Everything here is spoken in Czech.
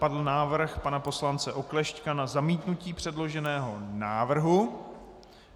Padl návrh pana poslance Oklešťka na zamítnutí předloženého návrhu.